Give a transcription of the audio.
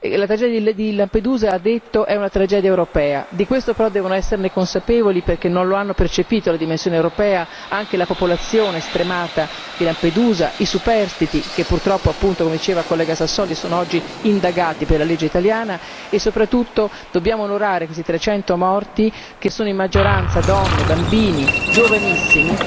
La tragedia di Lampedusa ha detto è una tragedia europea, di questo però devono esserne consapevoli, perché non la hanno percepito la dimensione europea la popolazione stremata di Lampedusa, i superstiti che purtroppo però, come diceva il collega Sassoli, sono oggi indagati per la legge italiana e soprattutto dobbiamo onorare questi 300 morti che sono in maggioranza donne, bambini, giovanissimi.